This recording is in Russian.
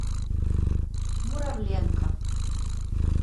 муравленко